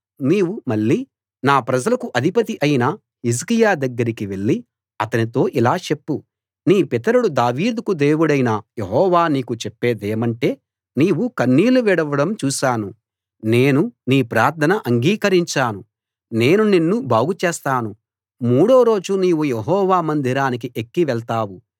నీవు మళ్ళీ నా ప్రజలకు అధిపతి అయిన హిజ్కియా దగ్గరికి వెళ్లి అతనితో ఇలా చెప్పు నీ పితరుడు దావీదుకు దేవుడైన యెహోవా నీకు చెప్పేదేమంటే నీవు కన్నీళ్లు విడవడం చూశాను నేను నీ ప్రార్థన అంగీకరించాను నేను నిన్ను బాగు చేస్తాను మూడో రోజు నీవు యెహోవా మందిరానికి ఎక్కి వెళ్తావు